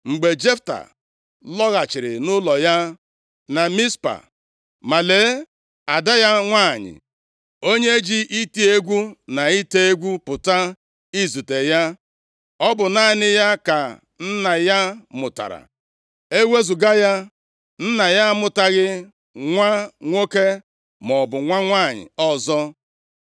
Mgbe Jefta lọghachiri nʼụlọ ya na Mizpa, ma lee ada ya nwanyị onye ji iti egwu na ite egwu pụta izute ya. Ọ bụ naanị ya ka nna ya mụtara. Ewezuga ya, nna ya amụtaghị nwa nwoke maọbụ nwa nwanyị ọzọ.